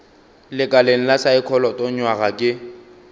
lekaleng la saekholot nywaga ke